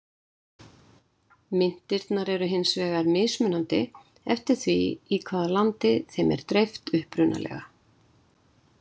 Myntirnar eru hins vegar mismunandi, eftir því í hvaða landi þeim er dreift upprunalega.